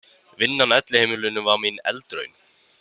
Vinnan á elliheimilinu var mín eldraun.